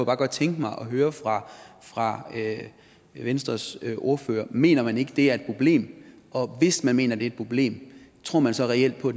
bare godt tænke mig at høre fra fra venstres ordfører mener man ikke at det er et problem og hvis man mener er et problem tror man så reelt på